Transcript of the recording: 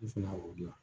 I fana o dilan